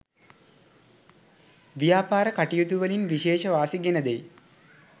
ව්‍යාපාර කටයුතුවලින් විශේෂ වාසි ගෙන දෙයි.